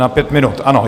Na pět minut, ano.